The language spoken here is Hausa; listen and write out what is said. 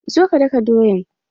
Zo ka daka doyan!